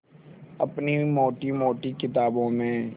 अपनी मोटी मोटी किताबों में